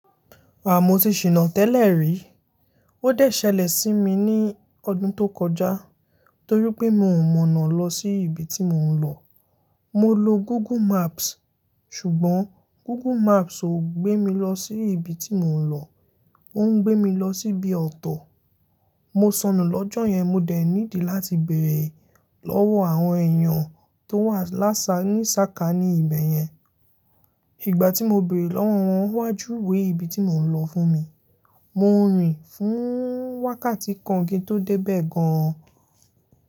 Haà, mo ti ṣìná tẹ́lẹ̀ rí. Ó dẹ̀ ṣẹlẹ̀ sí mi ní ọdún tó kọjá torí pé mi ò mọ̀nà lọ sí ibi tí mò ń lọ. Mo lo Google Maps ṣùgbọ́n Google Maps ò gbé mi lọ sí ibi tí mò ń lọ. Ó ń gbé mi lọ síbi ọ̀tọ̀. Mo sọnù lọ́jọ́ yẹn mo dẹ̀ niidi láti bèèrè lọ́wọ́ àwọn èèyàn tó wà lásà ní sákání ibẹ̀ yẹn. Ìgbà tí mo bèèrè lọ́wọ́ wọn, wọ́n wá júwe ibi tí mò ń lọ fún mi. Mo rìn fún wákàtí kan kí n tó dé bẹ̀ gan.